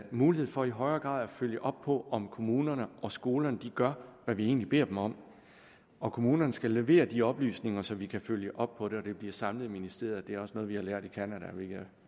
mulighed for i højere grad at følge op på om kommunerne og skolerne gør hvad vi egentlig beder dem om og kommunerne skal levere de oplysninger så vi kan følge op på det det bliver samlet i ministeriet der er også noget vi har lært i canada hvilket